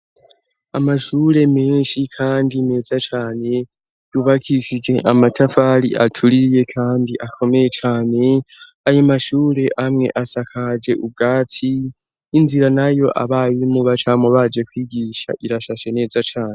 Amashure menshi kandi meza cane yubakishije, amatafari atuliye kandi akomeye cane ayo mashure amwe asakaje ubwatsi inzira nayo abarimu bacamubaje kwigisha irashashe neza cane.